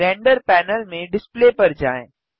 render panel में display पर जाएँ